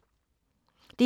DR2